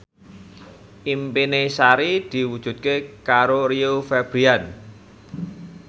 impine Sari diwujudke karo Rio Febrian